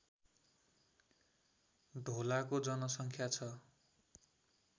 ढोलाको जनसङ्ख्या छ